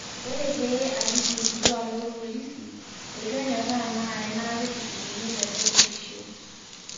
'ore pee aliki irkituak lopolisi, etu enyoraa na enata etushukunye lelo purisho.''